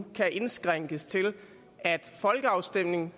kan indskrænkes til at folkeafstemninger